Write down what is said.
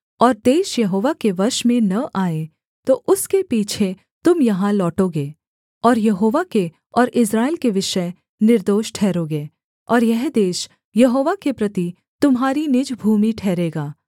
और देश यहोवा के वश में न आए तो उसके पीछे तुम यहाँ लौटोगे और यहोवा के और इस्राएल के विषय निर्दोष ठहरोगे और यह देश यहोवा के प्रति तुम्हारी निज भूमि ठहरेगा